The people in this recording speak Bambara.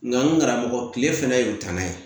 Nka n karamɔgɔ kile fɛnɛ y'u danan ye